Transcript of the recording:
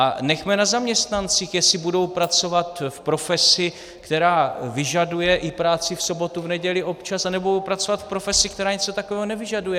A nechme na zaměstnancích, jestli budou pracovat v profesi, která vyžaduje i práci v sobotu, v neděli občas, anebo budou pracovat v profesi, která něco takového nevyžaduje.